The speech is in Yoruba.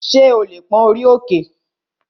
Ṣé o lè pón orí òkè?